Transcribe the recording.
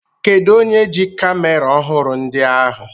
Kedụ onye ji kamera ọhụrụ ndị ahụ?